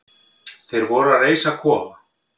Þeir voru að reisa kofa.